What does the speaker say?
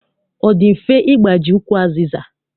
Ọ dị mfe ịgbaji ukwu azịza?